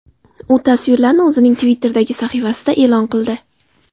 U tasvirlarni o‘zining Twitter’dagi sahifasida e’lon qildi .